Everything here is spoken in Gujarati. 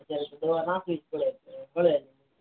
દવા નાખવી જ પડે